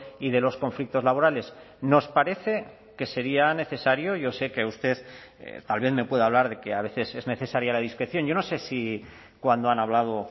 y de los conflictos laborales nos parece que sería necesario yo sé que usted también me puede hablar de que a veces es necesaria la discreción yo no sé si cuando han hablado